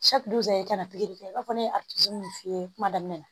i kana pikiri kɛ i b'a fɔ ne ye a tigi ninnu f'i ye kuma daminɛ na